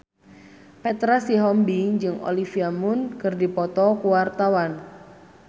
Petra Sihombing jeung Olivia Munn keur dipoto ku wartawan